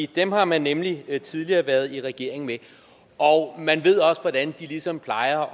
dem har man nemlig tidligere været i regering med og man ved også hvordan de ligesom plejer